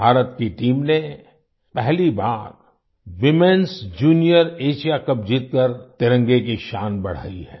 भारत की टीम ने पहली बार वूमेनएस जूनियर एएसआईए कप जीतकर तिरंगे की शान बढ़ाई है